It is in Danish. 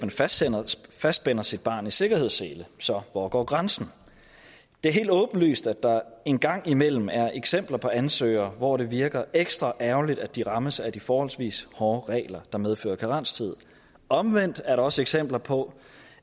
fastspænder sit barn med sikkerhedssele så hvor går grænsen det er helt åbenlyst at der en gang imellem er eksempler på ansøgere hvor det virker ekstra ærgerligt at de rammes af de forholdsvis hårde regler som medfører karenstid omvendt er der også eksempler på